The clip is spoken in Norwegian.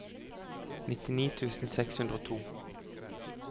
nittini tusen seks hundre og to